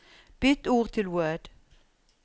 Bytt til Word